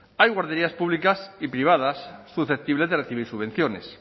hay guarderías públicas y privadas susceptibles de recibir subvenciones